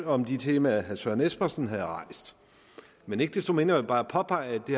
om de temaer herre søren espersen havde rejst men ikke desto mindre bare påpege at det